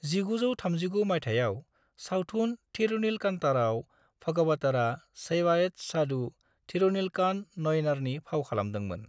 1939 मायथायाव सावथुन थिरुनीलकांतरआव भागवतरआ शैवाइत साधु थिरुनीलकांत नयनारनि फाव खालामदोंमोन।